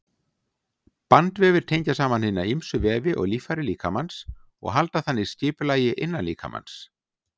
Bandvefir tengja saman hina ýmsu vefi og líffæri líkamans og halda þannig skipulagi innan líkamans.